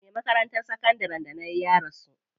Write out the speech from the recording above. Me makarantar sakandarin da nayi ya rasu.